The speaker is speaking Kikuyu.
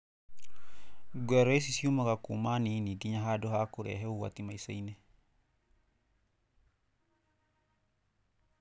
Gũrario ici ciumaga kuma nini ginya handũ ha kũrehe ũgwati maicainĩ.